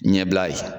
Ɲɛbila ye